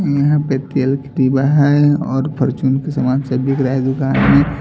यहां पे तेल की टीबा है और फर्चून के सामान सब दिख रहा है दुकान में।